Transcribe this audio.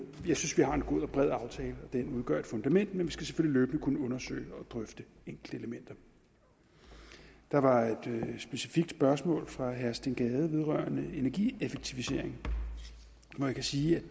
har en god og bred aftale og den udgør et fundament men vi skal selvfølgelig løbende kunne undersøge og drøfte enkeltelementer der var et specifikt spørgsmål fra herre steen gade om energieffektivisering man kan sige